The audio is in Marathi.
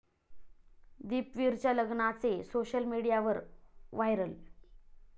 दीपवीरच्या लग्नाचे सोशल मीडियावर व्हायरल